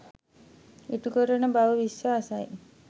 ඉටුකරන බව විශ්වාසයි